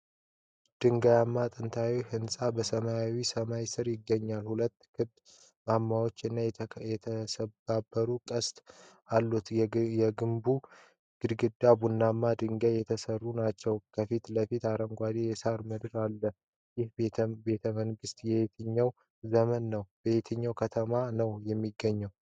ድንጋያማ ጥንታዊ ህንጻ በሰማያዊ ሰማይ ስር ይገኛል፤ ሁለት ክብ ማማዎች እና የተሰባበረ ቅስት አሉት። የግንቡ ግድግዳዎች በቡናማ ድንጋይ የተሠሩ ናቸው። ከፊት ለፊት አረንጓዴ የሳር ምድር አለ። ይህ ቤተመንግስት የየትኛው ዘመን ነው? በየትኛው ከተማ ነው የሚገኘው?